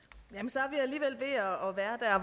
så